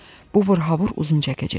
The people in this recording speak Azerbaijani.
Bu vırhavır uzun çəkəcək.